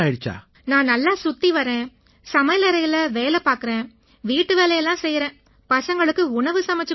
நான் நல்லா சுத்தி வர்றேன் சமையலறையில வேலை பார்க்கறேன் வீட்டுவேலை எல்லாம் செய்யறேன் பசங்களுக்கு உணவு சமைச்சுக் கொடுக்கறேன்